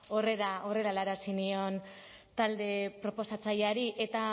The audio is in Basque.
horrela helarazi nion talde proposatzaileari eta